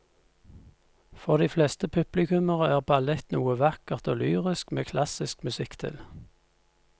For de fleste publikummere er ballett noe vakkert og lyrisk med klassisk musikk til.